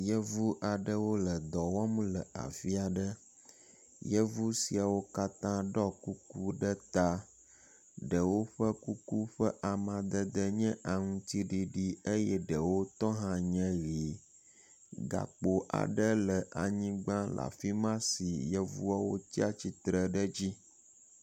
Yevu aɖewo le dɔ wɔm le afi aɖe. Yevu siawo katã ɖɔ kuku ɖe ta. Ɖewo ƒe kuku ƒe amadede nye aŋtiɖiɖi eye ɖewo tɔ hã nye ʋi. Gakpo aɖe le anyigba le afi ma si yevuawo tsi tsitre ɖe edzi.